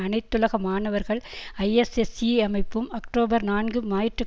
அனைத்துலக மாணவர்கள் ஐஎஸ்எஸ்ஈ அமைப்பும் அக்டோபர் நான்கு ஞாயிற்று